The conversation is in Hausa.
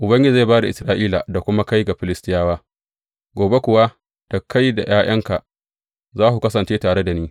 Ubangiji zai ba da Isra’ila da kuma kai ga Filistiyawa, gobe kuwa da kai da ’ya’yanka za ku kasance tare da ni.